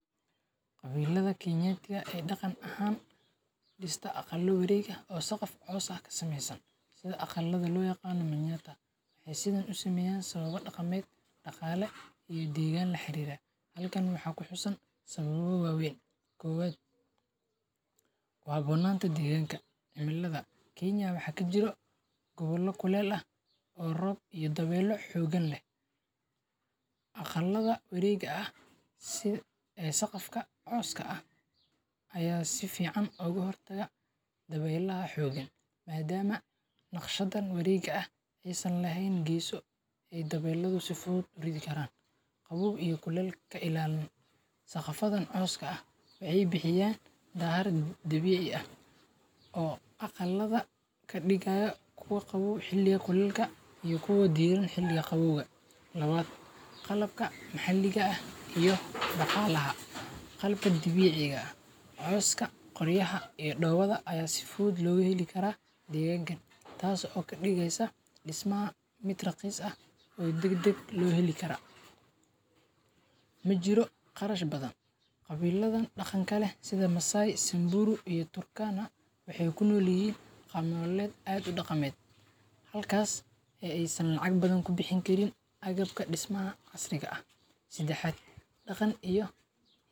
Qabiilada Kenyatiga e daqan ahan dista aqala wareeg aah o saqaf cows ah kasmeysan sida aqalada lo yaqano Manyata ay sida usameyan sababa daqameed daqaale e degan laxarira. Halkan waxa kuxusan sababa wa wayn. Kobad kuhabonanta deganka cimilada Kenya waxa kajiro gobala kuleyl ah o Roob iyo dabeylaha xogan leh aqalada warega sida saqafka cowska ah aya sifican oga hortaga dabeylaha xogan maadama naqshdan e warega ah aysan laheyn geeso ay dabeyladu si fudud u redhi karan qabow iyo kuley kailaaliyan saqafadan cowska ah waxay bixiyan daar dabiici ah o aqalaa kadigayo kuwa qaboow xiliga kuleylka iyo kuwa diran xiliga qabowga. Labad qalbka maxaliga ah iyo daqalaha qalabka dabiciga cowska qoryaha iyo dobada aya si fudud loga heli kara deganka tas o kadigeysa dismaha mid raqiis ah o dagdag lo heli kara majiro qarash badan. Qabiladan daqanka leh sida Massai, Sanburu iyo Turkana waxay kunolyahin qab nolaleed daqamed halkas ay lacag badan kubixneynin agbaka dismaha xasriga ah . Sadaxad daqan iyo.